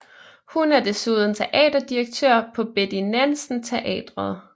Hun er desuden teaterdirektør på Betty Nansen Teatret